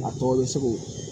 A tɔ bɛ segu